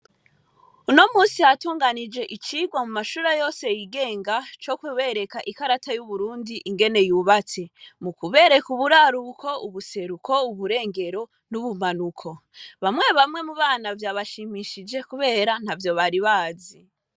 Uno musi hatunganijwe icigwa mu mashure yose y'igenga co kubereka ikarata y'Uburundi ingene yubatse, mu kubereka uburaruko, ubuseruko, uburengero n'ubumanuko. Bamwe bamwe mu bana vyabashimishije kubera ntavyo bari bazi.